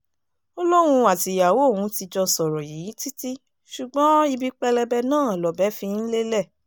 ó lóun àtìyàwó òun ti jọ sọ̀rọ̀ yìí títí ṣùgbọ́n ibi pẹlẹbẹ náà lọ̀bẹ fi ń lélẹ̀